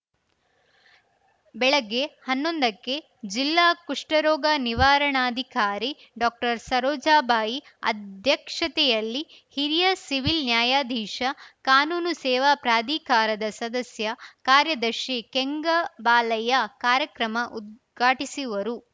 ಬೆಳಗ್ಗೆ ಹನ್ನೊಂದಕ್ಕೆ ಜಿಲ್ಲಾ ಕುಷ್ಠರೋಗ ನಿವಾರಣಾಧಿಕಾರಿ ಡಾಕ್ಟರ್ಸರೋಜಬಾಯಿ ಅಧ್ಯಕ್ಷತೆಯಲ್ಲಿ ಹಿರಿಯ ಸಿವಿಲ್‌ ನ್ಯಾಯಾಧೀಶ ಕಾನೂನು ಸೇವಾ ಪ್ರಾಧಿಕಾರದ ಸದಸ್ಯ ಕಾರ್ಯದರ್ಶಿ ಕೆಂಗಬಾಲಯ್ಯ ಕಾರ್ಯಕ್ರಮ ಉದ್ಘಾಟಿಸುವರು